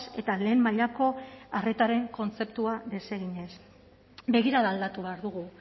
eta lehen mailako arretaren kontzeptua deseginez begirada aldatu behar dugu